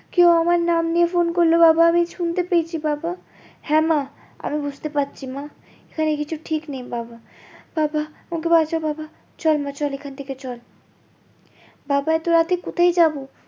কেউ আমার নাম নিয়ে ফোন করলো বাবা আমি শুনতে পেয়েছি বাবা হ্যাঁ মা আমি বুঝতে পারছি মা এখানে কিছু ঠিক নেই বাবা বাবা আমাকে বাঁচাও বাবা চল মা চল এখন থেকে চল বাবা এতো রাতে কোথায় যাবো